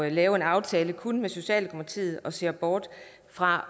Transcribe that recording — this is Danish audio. lave en aftale kun med socialdemokratiet og ser bort fra